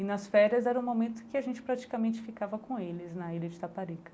E nas férias era o momento que a gente praticamente ficava com eles na ilha de Taparica.